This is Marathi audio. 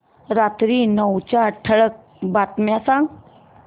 रात्री नऊच्या ठळक बातम्या सांग